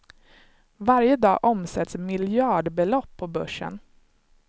Varje dag omsätts miljardbelopp på börsen.